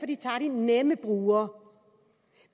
de tager de nemme brugere